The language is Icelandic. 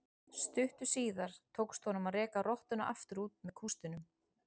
Stuttu síðar tókst honum að reka rottuna aftur út með kústinum.